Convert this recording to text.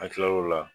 An tilal'o la